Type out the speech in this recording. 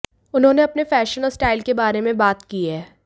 उन्होंने अपने फैशन और स्टाइल के बारे में बात की है